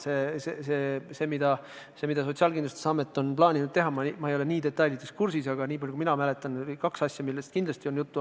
Ma ei ole detailideni kursis, mida Sotsiaalkindlustusamet on plaaninud teha, aga nii palju kui ma mäletan, kindlasti on juttu olnud vähemalt kahest asjast.